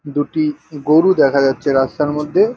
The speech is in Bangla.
দুটি গরু দেখা যাচ্ছে রাস্তার মধ্যে।